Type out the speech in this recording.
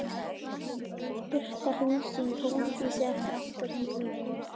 Birta, hringdu í Hólmdísi eftir áttatíu mínútur.